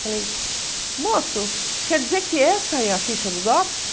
Falei, moço, quer dizer que essa é a ficha do DOPS?